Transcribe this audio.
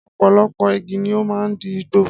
Ọ̀pọ̀lọpọ̀ igi ni ó máa ń di igbó